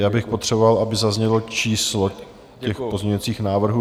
Já bych potřeboval, aby zaznělo číslo těch pozměňovacích návrhů.